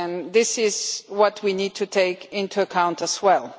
This is what we need to take into account as well.